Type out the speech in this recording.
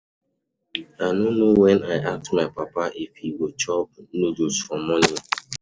I no know when I ask my papa if he go chop noodles for morning.